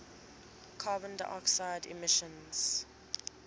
carbon dioxide emissions